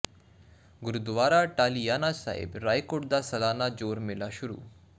ਗੁਰਦੁਆਰਾ ਟਾਹਲੀਆਣਾ ਸਾਹਿਬ ਰਾਏਕੋਟ ਦਾ ਸਾਲਾਨਾ ਜੋੜ ਮੇਲਾ ਸ਼ੁਰੂ